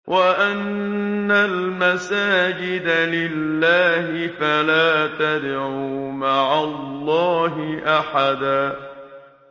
وَأَنَّ الْمَسَاجِدَ لِلَّهِ فَلَا تَدْعُوا مَعَ اللَّهِ أَحَدًا